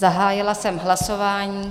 Zahájila jsem hlasování.